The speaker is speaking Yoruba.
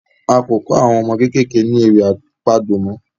A ko kò àwọn ọmọ kékeré ní ewì àpagbè mọ